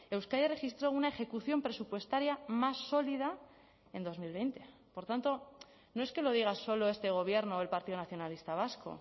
euskadi registró una ejecución presupuestaria más sólida en dos mil veinte por tanto no es que lo diga solo este gobierno o el partido nacionalista vasco